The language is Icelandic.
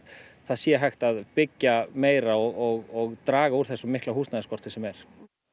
það sé hægt að byggja meira og draga úr þessum mikla húsnæðisskorti sem er